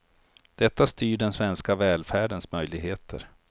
Detta styr den svenska välfärdens möjligheter.